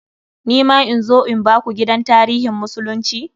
Ni ma in zo in biku gidan tarihin musulunci?